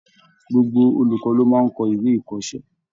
Gbogbo olùkọ́ ló máa ń kọ ìwé ikọ́sẹ́.